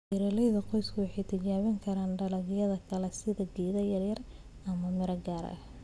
Beeralayda qoysku waxay tijaabin karaan dalagyo kale sida geedo yaryar ama miro gaar ah.